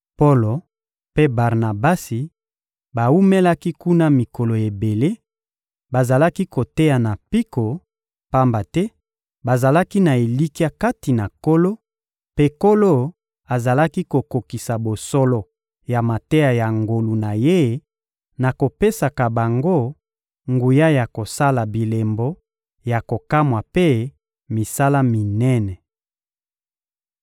Polo mpe Barnabasi bawumelaki kuna mikolo ebele, bazalaki koteya na mpiko, pamba te bazalaki na elikya kati na Nkolo; mpe Nkolo azalaki kokokisa bosolo ya mateya ya ngolu na Ye na kopesaka bango nguya ya kosala bilembo ya kokamwa mpe misala minene.